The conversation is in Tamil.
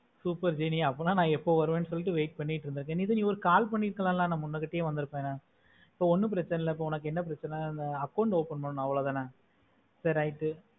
super jeni அப்போனா நா எப்போ வருவேன்னு wait பண்ணிட்டு இருந்த jeni நீ ஒரு call பண்ணிற்களாலா நா முன்கூட்டையே வந்தூர்ப்பேனே இப்போ ஒன்னும் பிரெச்சனை இல்ல இப்போ என்ன பிரெச்சனை அந்த account open பண்ணுனோ அவோலோதான சேரி right